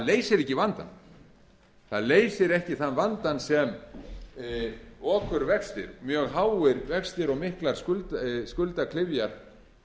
leysir ekki vandann það leysir ekki þann vanda sem okurvextir mjög háir vextir og miklar skuldaklyfjar